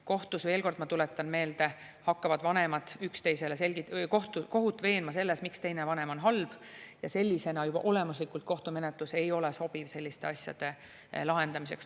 Kohtus, veel kord ma tuletan meelde, hakkavad vanemad kohut veenma selles, miks teine vanem on halb, ja sellisena juba olemuslikult kohtumenetlus ei ole sobiv selliste asjade lahendamiseks.